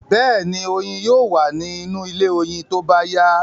Bẹ́ẹ̀ni, oyin yóò wa ní inú ilé oyin tóbá yá